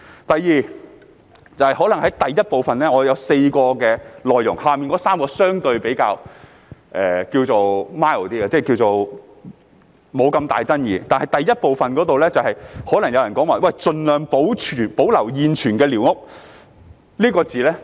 第二，我的議案有4點內容，以下3點相對比較 mild， 沒那麼大爭議性，但就第一部分，有人可能會對"盡量保留現存寮屋"存在爭議。